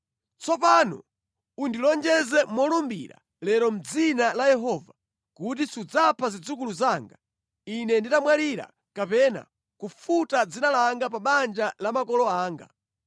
Tsopano undilonjeze molumbira lero mʼdzina la Yehova kuti sudzapha zidzukulu zanga ine nditamwalira kapena kufuta dzina langa pa banja la makolo anga.”